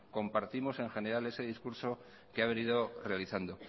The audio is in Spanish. compartimos en general ese discurso que ha venido realizando